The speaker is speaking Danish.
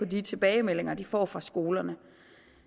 de tilbagemeldinger de får fra skolerne